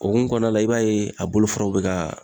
O hukumu kɔnɔna la i b'a ye a bolofaraw be ka